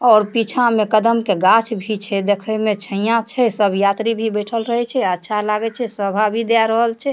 और पीछा में कदम के गाछ भी छै देखे में छैय्या छै सब यात्री भी बइठल रहे छै अच्छा लागे छै शोभा भी देए रहल छै।